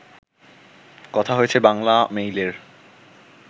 কথা হয়েছে বাংলামেইলের